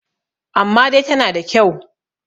amma dai tana da kyau